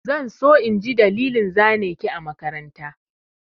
Zan so in ji dalilin zane ki a makaranta.